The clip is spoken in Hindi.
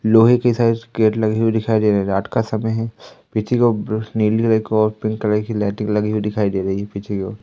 लोहे के शायद गेट लगी हुई दिखाई दे रही है रात का समय है पीछे की ओर बस नीली एक और पिंक कलर की लाइटिंग लगी हुई दिखाई दे रही है पीछे की ओर --